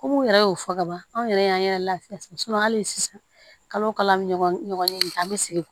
Komi n yɛrɛ y'o fɔ kaban anw yɛrɛ y'an yɛrɛ lafiya hali sisan kalo o kalo ɲɔgɔn in an bɛ sigi